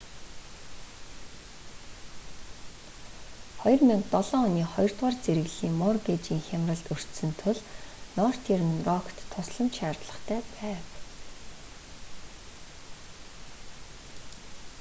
2007 оны хоёрдугаар зэрэглэлийн моргейжийн хямралд өртсөн тул нортерн рокт тусламж шаардлагатай байв